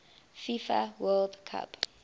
fifa world cup